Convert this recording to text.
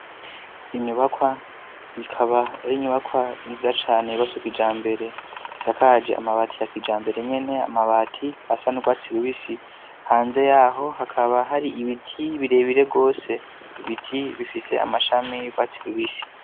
Inyubakwa ikaba yari inyubakwa nziza cane yubatswe kijambere isakaje amabati yakijambere nyene amabati asa nurwatsi rubisi hanze yaho hakaba hari ibiti birebire gose, ibiti bifise amashami yurwatsi rubisi.